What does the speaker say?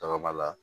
Tɔgɔ b'a la